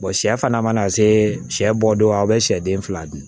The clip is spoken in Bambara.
sɛ fana mana se sɛ bɔ don aw bɛ sɛ den fila dun